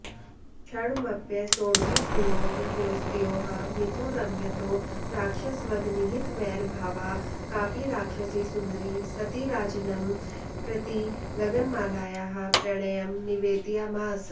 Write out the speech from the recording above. क्षणमप्यसोढविप्रयोगयोस्तयोः मिथो रमयतो राक्षसवधनिहितवैरभावा कापि राक्षसी सुन्दरी सती राजानं प्रति गगनमालायाः प्रणयं निवेदयामास